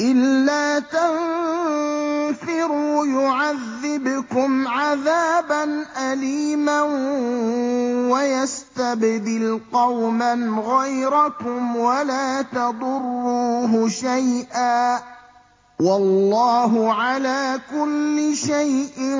إِلَّا تَنفِرُوا يُعَذِّبْكُمْ عَذَابًا أَلِيمًا وَيَسْتَبْدِلْ قَوْمًا غَيْرَكُمْ وَلَا تَضُرُّوهُ شَيْئًا ۗ وَاللَّهُ عَلَىٰ كُلِّ شَيْءٍ